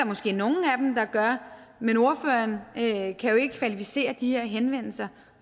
måske nogle af dem der gør men ordføreren kan jo ikke kvalificere de her henvendelser